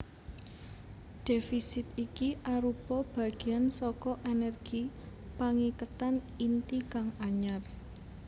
Dhéfisit iki arupa bagéan saka ènèrgi pangiketan inti kang anyar